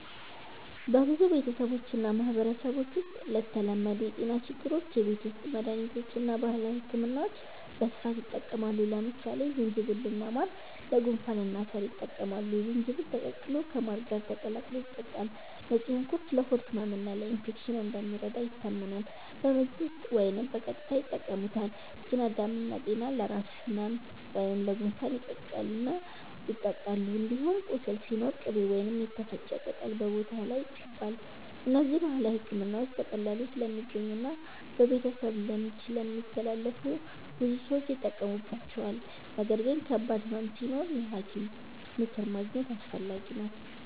በብዙ ቤተሰቦችና ማህበረሰቦች ውስጥ ለተለመዱ የጤና ችግሮች የቤት ውስጥ መድሃኒቶችና ባህላዊ ሕክምናዎች በስፋት ይጠቀማሉ። ለምሳሌ ዝንጅብልና ማር ለጉንፋንና ሳል ይጠቅማሉ፤ ዝንጅብል ተቀቅሎ ከማር ጋር ተቀላቅሎ ይጠጣል። ነጭ ሽንኩርት ለሆድ ህመምና ለኢንፌክሽን እንደሚረዳ ይታመናል፤ በምግብ ውስጥ ወይም በቀጥታ ይጠቀሙበታል። ጤና አዳም እና ጠና ለራስ ህመም ወይም ለጉንፋን ይቀቀላሉ እና ይጠጣሉ። እንዲሁም ቁስል ሲኖር ቅቤ ወይም የተፈጨ ቅጠል በቦታው ላይ ይቀባል። እነዚህ ባህላዊ ሕክምናዎች በቀላሉ ስለሚገኙና በቤተሰብ ልምድ ስለሚተላለፉ ብዙ ሰዎች ይጠቀሙባቸዋል። ነገር ግን ከባድ ህመም ሲኖር የሐኪም ምክር ማግኘት አስፈላጊ ነው።